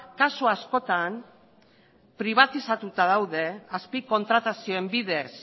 kasu askotan pribatizatuta daude azpi kontratazioen bidez